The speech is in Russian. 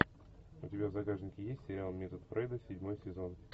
у тебя в загашнике есть сериал метод фрейда седьмой сезон